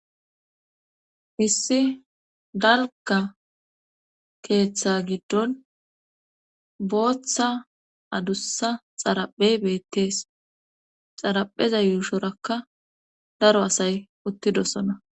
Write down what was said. Hissi dalgga keeththa giddon booththa adussa xaraphe beettees xarapheza yuushorakka daro asay uttidosona.